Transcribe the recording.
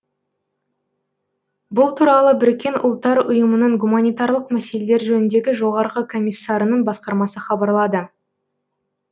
бұл туралы біріккен ұлттар ұйымының гуманитарлық мәселелер жөніндегі жоғарғы комиссарының басқармасы хабарлады